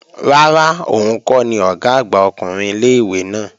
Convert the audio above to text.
Rárá, òun kọ́ ni Ọ̀gá àgbà ọkùnrin ilé-ìwé náà